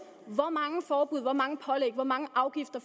hvor mange forbud hvor mange pålæg og mange afgifter